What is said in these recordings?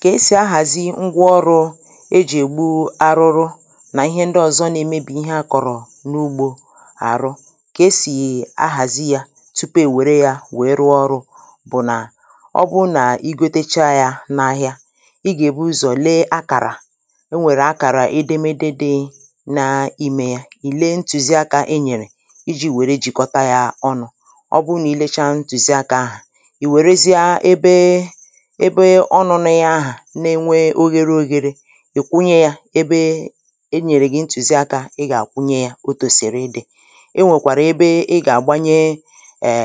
Kà esì ahàzi ngwa ọrụ̄ ejì ègbu arụrụ nà ihe ndị ọ̀zọ na-emebì ihe akọ̀rọ̀ n’ugbō àrụ kà esì ahàzi yā tupu èwère yā wee rụọ ọrụ̄ bụ̀ nà ọ bụ nà igotecha yā n’ahịa ị gà èbu ụzọ̀ le akàrà enwèrè akàrà edemede dị na imē ya ị̀ le ntụ̀ziakā e nyèrè ijī wère jìkọta yā ọnụ̄ ọ bụ nà ị lecha ntụ̀ziakā ahà ị̀ wèrezịa ebe ebe ọnụ̄nụ ya ahà na enwe oghēre oghēre ị kwụnye yā ebe e nyèrè gị̀ ntụ̀ziakā ị gà àkwụnye yā otòsìrì ịdị̄ e nwèkwàrà ebe ị gà-àgbanye è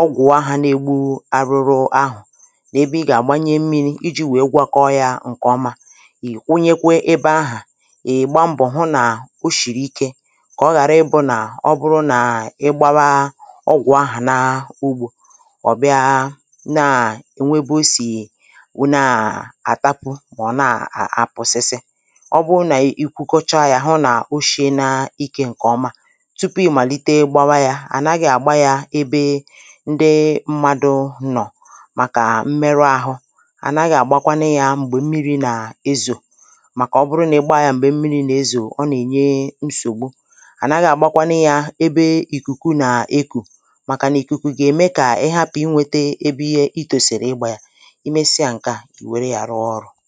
ọgwụ̀ ahā na-egbu arụrụ ahụ̀ na ebe ị gà-àgbanye mmīri ijī wee gwakọ yā ǹkè ọma ị̀ kwụnyekwe ebe ahà ị̀ gba mbọ̀ hụ nà o shìrì ike kà ọ ghàra ịbụ̄ nà ọ bụrụ nà ị gbawa ọgwụ̀ ahà na ugbō ọ̀ bịa naà o nwe ebe o sì wụ naà àtapu mà ọ̀ naà àpụ̀sisị ọ bụ nà ị kwụkọcha yā hụ nà o shiena ikē ǹkè ọma tupu ị̀ màlite gbawa yā ànaghị̄ àgba yā ebe ndị mmadụ̄ nọ̀ màkà mmeru ahụ ànaghị̄ àgbakwanu yā m̀gbè mmirī nà ezò màkà ọ bụrụ nà ị gba yā m̀gbè mmirī nà-ezò ọ nà-ènye nsògbu ànaghị̄ àgbakwanu yā ebe ìkùku nà ekù màkà nà ìkùkù gà-ème kà ị hapụ̀ inwēte ebe iye ị tòsìrì ịgbā ya ị mesịa ǹkè a ị̀ wère yā rụọ ọrụ̄